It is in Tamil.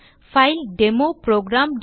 file demo program